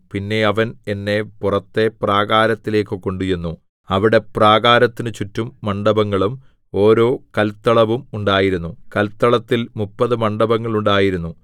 പിന്നെ അവൻ എന്നെ പുറത്തെ പ്രാകാരത്തിലേക്കു കൊണ്ടുചെന്നു അവിടെ പ്രാകാരത്തിനു ചുറ്റും മണ്ഡപങ്ങളും ഓരോ കല്ത്തളവും ഉണ്ടായിരുന്നു കല്ത്തളത്തിൽ മുപ്പതു മണ്ഡപങ്ങൾ ഉണ്ടായിരുന്നു